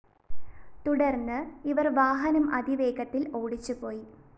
തുടര്‍ന്ന് ഇവര്‍ വാഹനം അതിവേഗത്തില്‍ ഓടിച്ചു പോയി